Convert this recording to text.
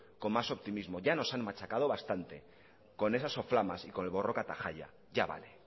con más optimismo ya nos han machacado bastante con esas soflamas y con el borroka eta jaia ya vale